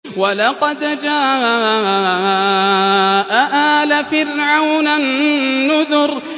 وَلَقَدْ جَاءَ آلَ فِرْعَوْنَ النُّذُرُ